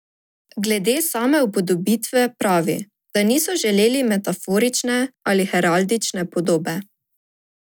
Glede same upodobitve pravi, da niso želeli metaforične ali heraldične podobe.